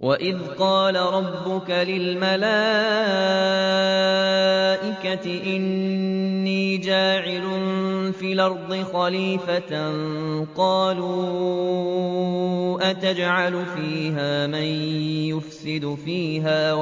وَإِذْ قَالَ رَبُّكَ لِلْمَلَائِكَةِ إِنِّي جَاعِلٌ فِي الْأَرْضِ خَلِيفَةً ۖ قَالُوا أَتَجْعَلُ فِيهَا مَن يُفْسِدُ فِيهَا